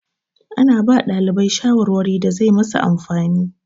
Ana ba ɗalibai shawarwari da zai masu amfani.